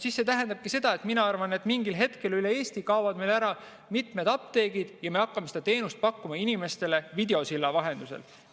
See tähendabki minu arvates seda, et mingil hetkel kaovad meil üle Eesti ära mitmed apteegid ja me hakkame seda teenust pakkuma inimestele videosilla vahendusel.